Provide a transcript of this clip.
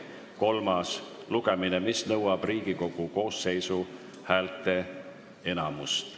Eelnõu heakskiitmine nõuab Riigikogu koosseisu häälteenamust.